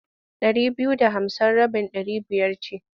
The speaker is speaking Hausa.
Ɗari biyu da hamsin rabin ɗari biyar ce.